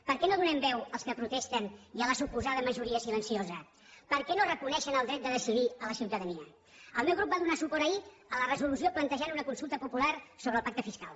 per què no donem veu als que protesten i a la suposada majoria silenciosa per què no reconeixen el dret a decidir a la ciutadania el meu grup va donar suport ahir a la resolució que plantejava una consulta popular sobre el pacte fiscal